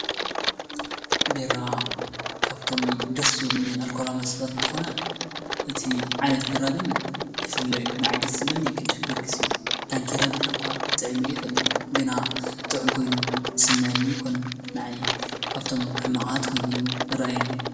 ቢራ ካብቶም ኣዝዮም ደሥ ዝብሉኒ ኣልኮላኢ መስት እንተኾነ እቲ ዓይነት ቢራ ግን ይፍለዩ ። ንኣይ ደስ ዝብለኒ ቕድስ ጊዮርግሥ እዩ፣ ዳንኪራ ቢራ እኳ ጥዕመዮ ኣይፈልጥን ግና ጥዑም ኮይኑዩ ዝስምዐኒ ይኮነን ንኣይ ካብቶም ሕማዓት ኮይኑ እዩ ዝረአየኒ።